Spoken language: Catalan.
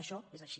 això és així